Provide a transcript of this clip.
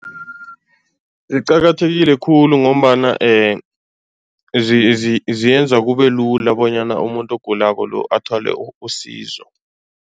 Ziqakathekile khulu ngombana ziyenza kube lula bonyana umuntu ogulako lo, athole usizo.